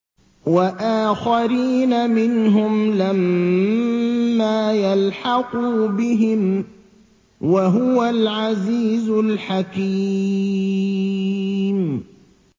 وَآخَرِينَ مِنْهُمْ لَمَّا يَلْحَقُوا بِهِمْ ۚ وَهُوَ الْعَزِيزُ الْحَكِيمُ